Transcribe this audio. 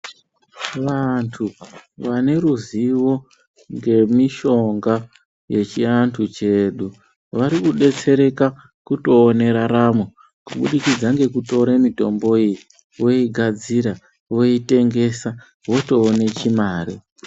Vantu vane ruzivo remishonga yechiantu chedu varikudetsereka kutoone raramo kubudikidza ngekutora mitombo iyi voigadzira voitengesa votoone chimare.